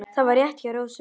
Það var rétt hjá Rósu.